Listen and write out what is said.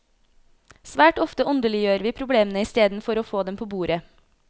Svært ofte åndeliggjør vi problemene isteden for å få dem på bordet.